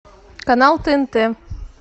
канал тнт